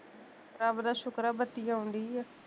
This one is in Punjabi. ਰੱਬ ਦਾ ਸ਼ੁਕਰ ਆ, ਬੱਤੀ ਆਉਣ ਡਈ ਆ